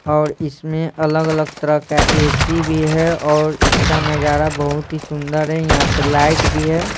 और इसमें अलग-अलग तरह का ए सी भी है और इसका नजारा बहुत ही सुंदर है यहाँ पे लाइट भी है।